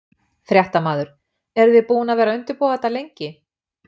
Fréttamaður: Eruð þið búin að vera að undirbúa þetta lengi?